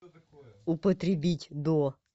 употребить до